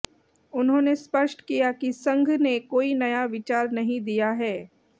उन्होंने स्पष्ट किया कि संघ ने कोई नया विचार नहीं दिया है